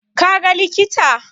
Ka ga likita?